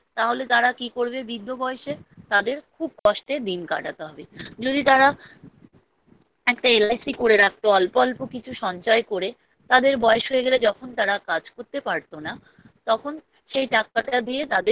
তাহলে তারা কি করবে বৃদ্ধ বয়েসে তাদের খুব কষ্টে দিন কাটাতে হবে যদি তারা একটা LIC করে রাখতো অল্প অল্প কিছু সঞ্চয় করে তাদের বয়েস হয়ে গেলে যখন তারা কাজ করতে পারতো না তখন সেই টাকাটা দিয়ে তাদের